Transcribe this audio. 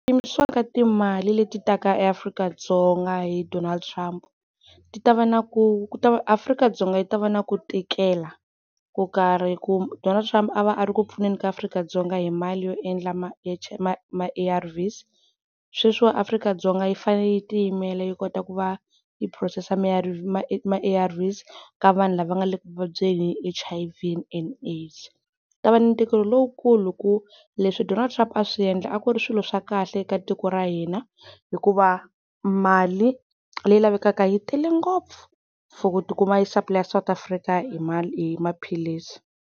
Ku yimisiwa ka timali leti taka eAfrika-Dzonga hi Donald Trump ti ta va na ku Afrika-Dzonga yi ta va na ku tikela ko karhi, ku Donald Trump a va a ri ku pfuneni ka Afrika-Dzonga hi mali yo endla A_R_Vs. Sweswi wa ni Afrika-Dzonga yi fanele yi ti yimela yi kota ku va yi phurosesa ma A_R_Vs ka vanhu lava nga le ku vabyeni hi H_I_V and AIDS. Ku ta va ni ntikelo lowukulu hi ku leswi Donald Trump a swi endla a ku ri swilo swa kahle eka tiko ra hina, hikuva mali leyi lavekaka yi tele ngopfu for ku ti kuma yi supplier South Africa hi maphilisi.